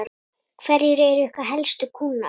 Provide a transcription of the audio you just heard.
Hverjir eru ykkar helstu kúnnar?